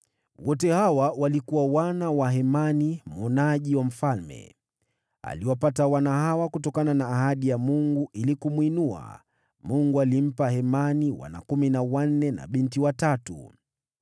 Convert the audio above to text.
Wote hawa walikuwa wana wa Hemani mwonaji wa mfalme. Aliwapata wana hawa kutokana na ahadi ya Mungu ili kumwinua. Mungu alimpa Hemani wana kumi na wanne na binti watatu.